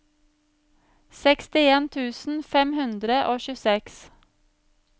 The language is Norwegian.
sekstien tusen fem hundre og tjueseks